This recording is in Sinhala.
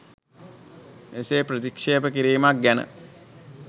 එසේ ප්‍රථික්ශේප කිරීමක් ගැන